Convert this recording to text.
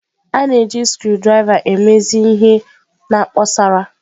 A na-eji screwdrivers emezi ihe na kposara.